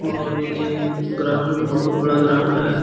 और ये ग्राउंड बहुत बड़ा ग्राउंड है।